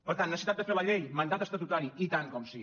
per tant necessitat de fer la llei mandat estatutari i tant que sí